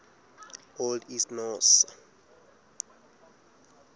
old east norse